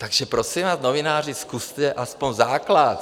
Takže prosím vás, novináři, zkuste aspoň základ!